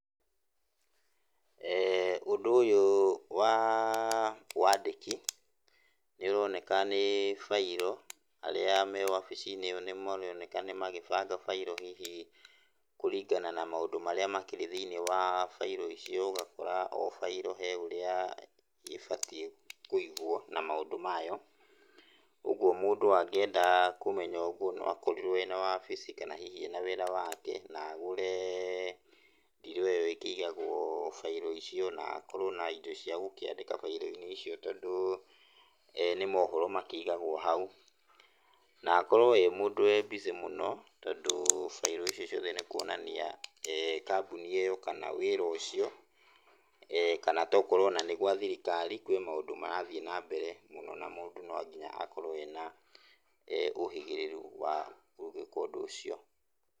eeh Ũndũ ũyũ wa wandĩki nĩ ũroneka nĩ bairo arĩa ma wabici-inĩ ĩyo maroneka nĩ magĩbanga bairo hihi kũringana na maũndu marĩa makĩrĩ thĩiniĩ wa bairo icio. Ũgakora o bairo he ũrĩa ĩbatiĩ kũigwo na maũndũ mayo. Ũguo mũndũ angĩenda kũmenya ũguo, no akorirwo ena wabici kana hihi ena wĩra wake, na agũre ndiro ĩyo ĩkĩigagwo bairo icio, na akorwo na indo cia gũkĩandĩka bairo-inĩ icio tondũ eeh nĩ maũhoro makĩigagwo hau. Na akorwo e mũndũ wĩ busy mũno tondũ bairo icio ciothe nĩ kũonania kambuni ĩyo kana wĩra ũcio, kana to okorwo o na nĩ gwa thirikari, kwĩ maũndũ marathiĩ na mbere mũno na mũndũ no nginya akorwo ena ũhĩgĩrĩru wa gũgĩka ũndũ ũcio.